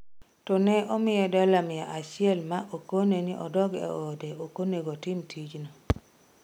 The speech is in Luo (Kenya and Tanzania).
To ne omiye dola mia achiel ma okone ni odog e ode okonego otim tijno.